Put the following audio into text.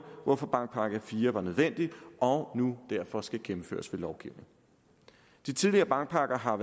hvorfor bankpakke iv var nødvendig og nu derfor skal gennemføres ved lovgivning de tidligere bankpakker har